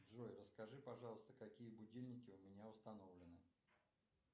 джой расскажи пожалуйста какие будильники у меня установлены